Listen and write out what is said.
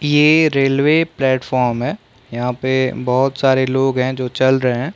ये railway platform है यहाँ पे बहुत सारे लोग हैं जो चल रहै हैं।